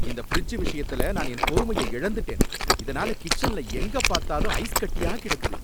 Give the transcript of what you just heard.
இந்த ஃபிரிட்ஜ் விஷயத்துல நான் பொறுமைய இழந்துட்டேன், இதுனால கிச்சன்ல எங்க பார்த்தாலும் ஐஸ் கட்டியா கிடக்குது.